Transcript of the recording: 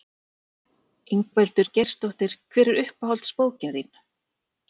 Ingveldur Geirsdóttir: Hver er uppáhalds bókin þín?